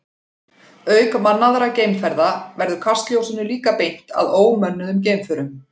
Auk mannaðra geimferða verður kastljósinu líka beint að ómönnuðum geimförum.